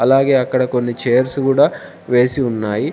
అలాగే అక్కడ కొన్ని చైర్స్ కూడా వేసి ఉన్నాయి.